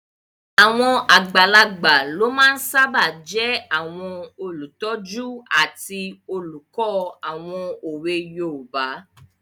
Àwọn àgbàlagbà ló máa n sáábà jẹ́ àwọn olùtọ́jú àti olùkọ́ àwọn òwe yoòbá